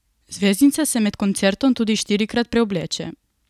Zvezdnica se med koncertom tudi štirikrat preobleče.